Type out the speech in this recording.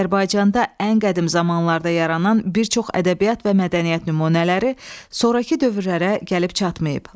Azərbaycanda ən qədim zamanlarda yaranan bir çox ədəbiyyat və mədəniyyət nümunələri sonrakı dövrlərə gəlib çatmayıb.